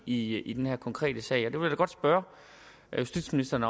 i i den her konkrete sag og jeg vil da godt spørge justitsministeren